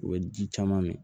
U bɛ ji caman min